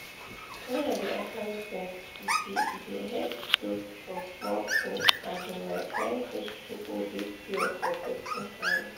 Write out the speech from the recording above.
wen i dey apply sense e dey e dey help dof for small things um like wen h2o dey pure for person hand